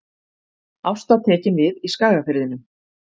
Ásta tekin við í Skagafirðinum